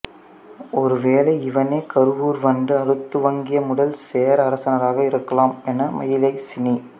ஒரு வேளை இவனே கருவூர் வந்து ஆளத்துவங்கிய முதல் சேர அரசனாக இருக்கலாம் என மயிலை சீனி